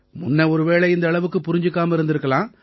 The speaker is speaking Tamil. முன்ன ஒருவேளை இந்த அளவுக்கு புரிஞ்சுக்காம இருந்திருக்கலாம்